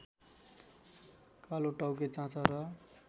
कालोटाउके चाँचर